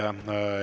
Aitäh!